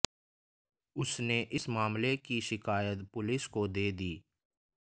उसने इस मामले की शिकायत पुलिस को दे दी